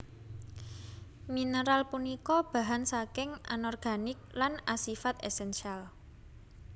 Mineral punika bahan saking Anorganik lan asifat esensial